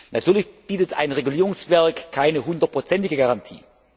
Natürlich bietet ein Regulierungswerk keine 100 ige Garantie.